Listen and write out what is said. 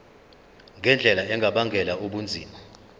ngendlela engabangela ubunzima